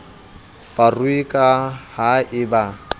barui ka ha e ba